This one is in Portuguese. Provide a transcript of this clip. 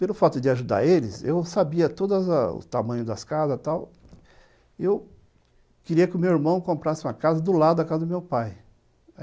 Pelo fato de ajudar eles, eu sabia todos as os tamanhos das casas tal, e eu queria que o meu irmão comprasse uma casa do lado da casa do meu pai.